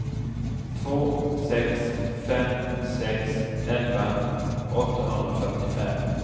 två sex fem sex elva åttahundrafyrtiofem